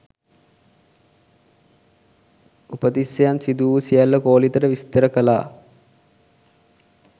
උපතිස්සයන් සිදු වූ සියල්ල කෝලිතට විස්තර කළා